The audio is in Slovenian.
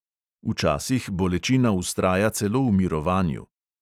Včasih bolečina vztraja celo v mirovanju.